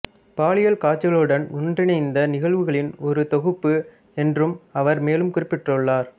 பாலியல் காட்சிகளுடன் ஒன்றிணைந்த நிகழ்வுகளின் ஒரு தொகுப்பு என்றும் அவர் மேலும் குறிப்பிட்டுள்ளார்